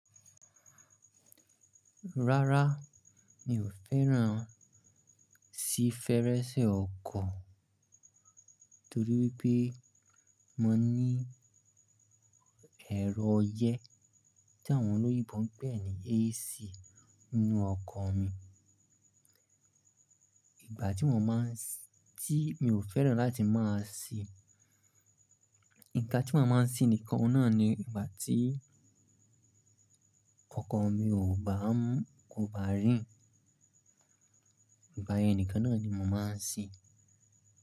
Rárá, mi ò fẹ́ràn síi fẹ́rẹ́ṣẹ́ ọkọ̀ torí wípé mo ní ẹ̀rọ ọyẹ́ tí àwọn olóyè ń pè ní AC nínú ọkọ̀ mi. Ìgbà tí mo máa ń sí-- tí mi ò fẹ́ràn láti máa sìí, nǹkan tí mo máa ń sìí nìkan ọ̀nà ni ìgbà tí ọkọ̀ mi kò bá rìn. Ìgbà yẹn nìkan náà ni mo máa ń sìí.